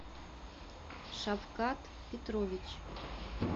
шавкат петрович